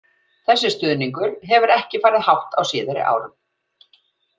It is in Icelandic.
Þessi stuðningur hefur ekki farið hátt á síðari árum.